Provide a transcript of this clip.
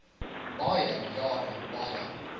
baie jare baie